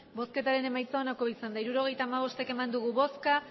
emandako botoak hirurogeita hamabost bai